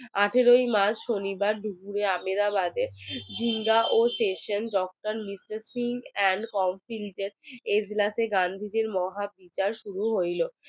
আঠেরোই march শনিবারে দুপুরে আহমেদাবাদে ঢিঙ্গা ও tuition litre sing and counselling এগুলাতে গান্ধীজির মহা বিচার শুরু হইলো